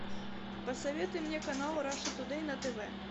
посоветуй мне канал раша тудэй на тв